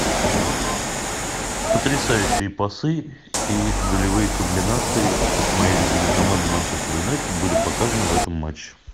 потрясающие пасы и голевые комбинации от моей любимой команды манчестер юнайтед были показаны в этом матче